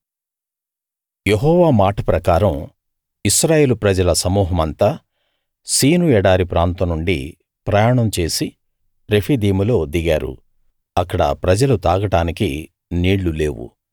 యెహోవా మాట ప్రకారం ఇశ్రాయేలు ప్రజల సమూహమంతా సీను ఎడారి ప్రాంతం నుండి ప్రయాణం చేసి రెఫీదీములో దిగారు అక్కడ ప్రజలు తాగడానికి నీళ్ళు లేవు